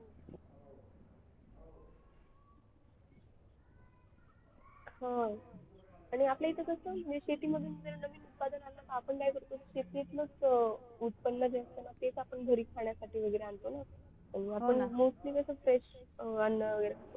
हो आणि आपल्या इथे कसं मी City मधून सिटीतलच उत्पन्न घेतलं ना तेच आपण घरी खाण्यासाठी आणतो ना mostly कसं fresh अन्न